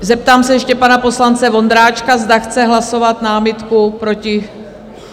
Zeptám se ještě pana poslance Vondráčka, zda chce hlasovat námitku proti?